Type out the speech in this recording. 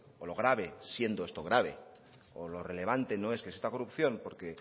o lo grave siendo esto grave o lo relevante no es que exista la corrupción porque